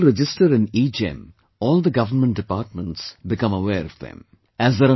So, when people register in EGEM, all the government departments become aware of them